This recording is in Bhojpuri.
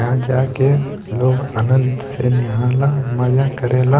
यहाँ जाके लोग आनंद से नेहा ला मजा करे ला।